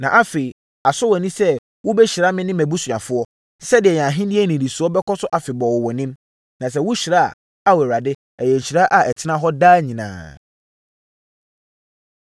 Na afei, asɔ wʼani sɛ wobɛhyira me ne mʼabusuafoɔ, sɛdeɛ yɛn ahennie nnidisoɔ bɛkɔ so afebɔɔ wɔ wʼanim. Na sɛ wohyira a, Ao Awurade, ɛyɛ nhyira a ɛtena hɔ daa nyinaa!”